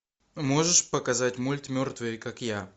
можешь показать мульт мертвые как я